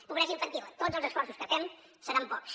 pobresa infantil tots els esforços que hi fem seran pocs